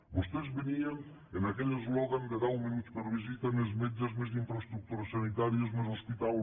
vostès venien amb aquell eslògan de deu minuts per visita més metges més infraestructures sanitàries més hospital